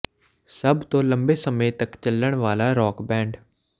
ਸਭ ਤੋਂ ਲੰਬੇ ਸਮੇਂ ਤੱਕ ਚੱਲਣ ਵਾਲਾ ਰੌਕ ਬੈਂਡ